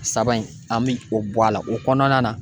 Saba in , an bɛ o bɔ a la o kɔnɔna na.